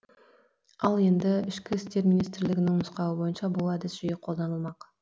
ал енді ішкі істер министрлігінің нұсқауы бойынша бұл әдіс жиі қолданылмақ